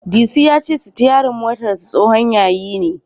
Disu ya ce sitiyarin motarsa tsohon yayi ne.